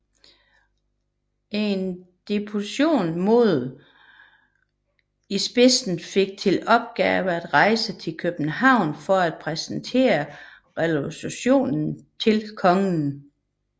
En deputation med Olshausen i spidsen fik til opgave at rejse til København for at præsentere resolutionen til kongen